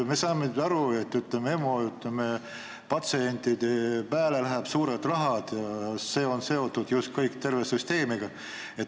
Me saame aru, et EMO patsientide peale läheb palju raha ja see on seotud kogu süsteemiga.